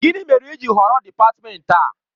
Gịnị mere i ji họrọ dị́patmenti a?